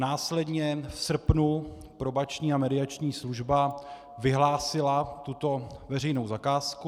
Následně v srpnu Probační a mediační služba vyhlásila tuto veřejnou zakázku.